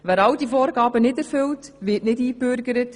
Wer diese Vorgaben nicht erfüllt, wird nicht eingebürgert.